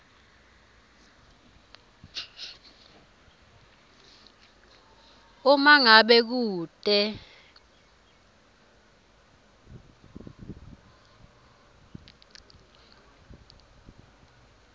uma ngabe kute